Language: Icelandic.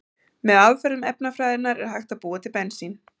Með aðferðum efnafræðinnar er hægt að búa til bensín.